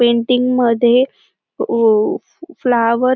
painting मध्ये uh uh flower --